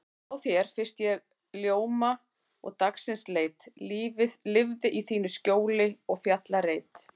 Hjá þér fyrst ég ljóma dagsins leit, lifði í þínu skjóli og fjallareit.